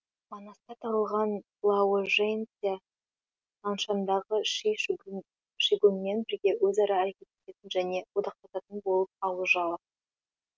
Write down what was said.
манаста тығылған лаожэнцзя наншандағы ши шигуң шигунмен бірге өзара әрекеттесетін және одақтасатын болып ауыз жала